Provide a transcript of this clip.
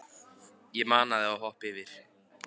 Ég mana þig að hoppa yfir.